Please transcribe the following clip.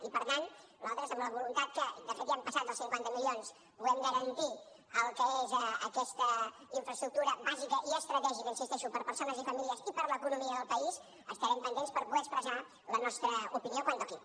i per tant nosaltres amb la voluntat que de fet ja hem passat dels cinquanta milions puguem garantir el que és aquesta infraestructura bàsica i estratègica hi insisteixo per a persones i famílies i per a l’economia del país estarem pendents per poder expressar la nostra opinió quan toqui